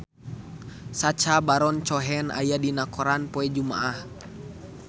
Sacha Baron Cohen aya dina koran poe Jumaah